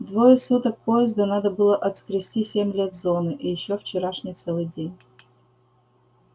двое суток поезда надо было отскрести семь лет зоны и ещё вчерашний целый день